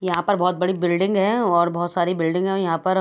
यहाँ बहत बड़ी बिल्डिंग है और बहत सारे बिल्डिंग है यहाँ पर--